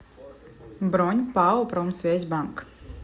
бронь пао промсвязьбанк